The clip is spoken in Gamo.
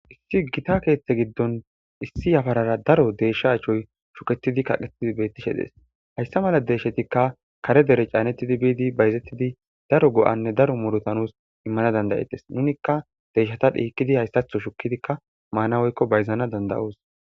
issi gita keeththe giddon issi yafarara daro deeshsha achoy shuketidi kaqetidi bettishe dees hayssa mala deeshshetikka kare dere caanettidi biidi bayzettidi daro go7anne daro murotanus immana dandayetes nunikka deeshshata dhiikidi hayssatho shukidikka maana woykko bayzana dandayos